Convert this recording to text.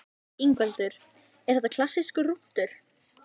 Ingveldur: Er það klassískur rúntur?